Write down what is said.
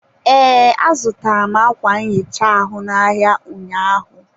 ee, azụtara m ákwà nhicha ahụ n'ahịa ụnyaahụ.